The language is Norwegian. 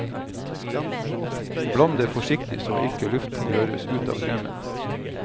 Bland det forsiktig så ikke luften røres ut av kremen.